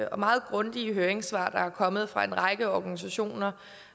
og meget grundige høringssvar der er kommet fra en række organisationer